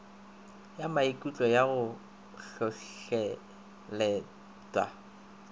ya maikutlo ya go hlohleletpa